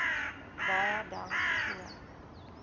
baie dankie ook